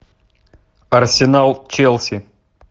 арсенал челси